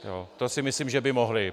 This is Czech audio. To si myslím, že by mohli.